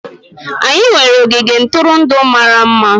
Anyị nwere ogige ntụrụndụ mara mma.